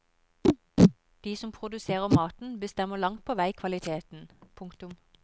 De som produserer maten bestemmer langt på vei kvaliteten. punktum